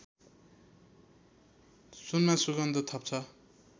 सुनमा सुगन्ध थप्छ